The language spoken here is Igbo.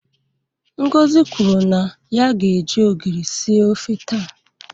Ngozi kwuru na ya ga-eji ogiri sie ofe taa.